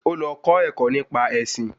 Ó lọ kọ́ ẹ̀kọ́ nípa ẹṣin